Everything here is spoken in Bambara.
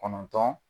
Kɔnɔntɔn